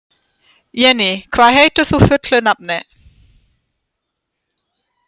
Jenný, hvað heitir þú fullu nafni?